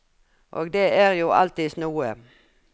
Og det er jo alltids noe.